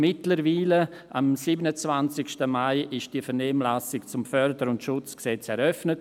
Mittlerweile, am 27. Mai, wurde diese Vernehmlassung eröffnet.